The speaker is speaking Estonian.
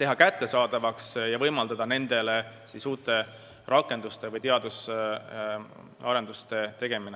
teha kättesaadavaks ja võimaldada neid kasutades uusi rakendusi ja teadusarendusi.